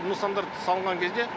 нысандарды салынған кезде